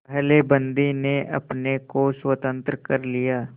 पहले बंदी ने अपने को स्वतंत्र कर लिया